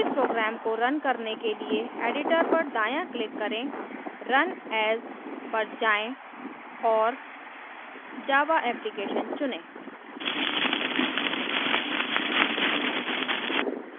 इस program को run करने के लिए editor पर दायाँclick करें run as पर जाएँ और java application चुनें